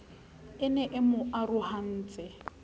e ne e mo arohantse